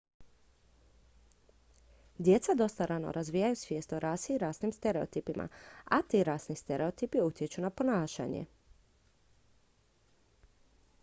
djeca dosta rano razviju svijest o rasi i rasnim stereotipima a ti rasni stereotipi utječu na ponašanje